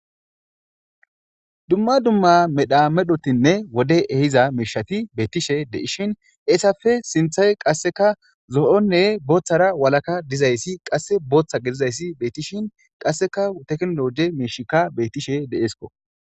dumma dumma medha medhotinne wode ehiza miishati beettishe de'ishin eesafe sinthay qasseka zo7onne booththara walaka dizayssi qasse booththa gedizayssi beettishin qasseka teknologe miishikka bettishe de7eesko